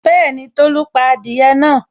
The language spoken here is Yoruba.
Bẹ́ẹ̀ni, Tolu pa adìẹ náà